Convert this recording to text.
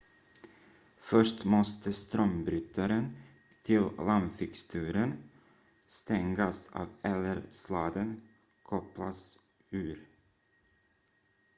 först måste strömbrytaren till lampfixturen stängas av eller sladden kopplas ur